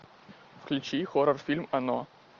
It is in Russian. включи хоррор фильм оно